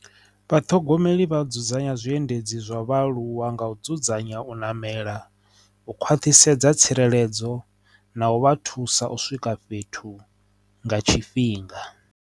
Vhathogomeli vha dzudzanya zwiendedzi zwa vhaaluwa nga u dzudzanya u namela, u khwaṱhisedza tsireledzo na u vha thusa u swika fhethu nga tshifhinga.